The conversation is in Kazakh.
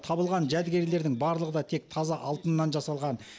табылған жәдігерлердің барлығы да тек таза алтыннан жасалған